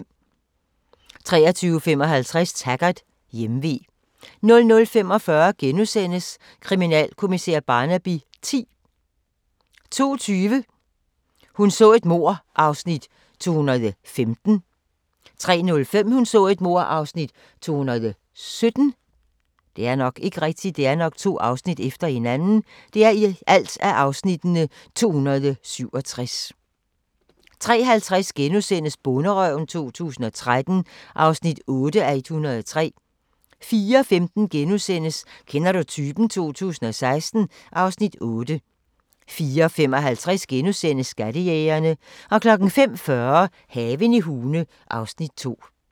23:55: Taggart: Hjemve 00:45: Kriminalkommissær Barnaby X * 02:20: Hun så et mord (215:267) 03:05: Hun så et mord (217:267) 03:50: Bonderøven 2013 (8:103)* 04:15: Kender du typen? 2016 (Afs. 8)* 04:55: Skattejægerne * 05:40: Haven i Hune (Afs. 2)